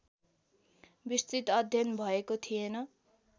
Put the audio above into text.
विस्तृत अध्ययन भएको थिएन।